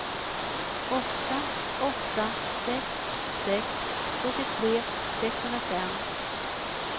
åtta åtta sex sex sjuttiotre sexhundrafem